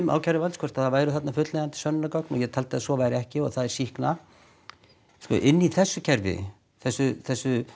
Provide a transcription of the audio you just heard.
ákæruvalds hvort það væru þarna fullnægjandi sönnunargögn og ég taldi að svo væri ekki og það er sýkna sko inni í þessu kerfi þessu þessu